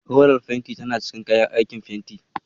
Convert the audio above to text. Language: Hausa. Rolar fenti tana cikin kayan aikin fenti.